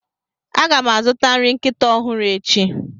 A ga m azụta nri nkịta ọhụrụ echi.